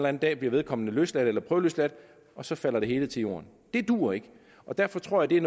en dag bliver vedkommende løsladt eller prøveløsladt og så falder det hele til jorden det duer ikke og derfor tror jeg